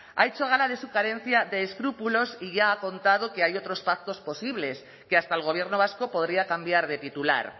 ha hecho gala de su carencia de escrúpulos y ya ha contado que hay otros pactos posibles que hasta el gobierno vasco podría cambiar de titular